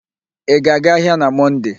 Ị ga-aga ahịa na Mọnde?